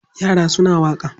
Yra suna waƙa.